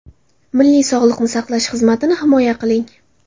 Milliy sog‘liqni saqlash xizmatini himoya qiling.